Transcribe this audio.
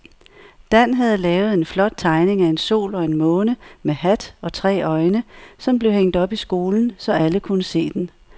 Dan havde lavet en flot tegning af en sol og en måne med hat og tre øjne, som blev hængt op i skolen, så alle kunne se den.